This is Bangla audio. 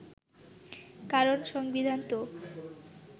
কারণ সংবিধান তো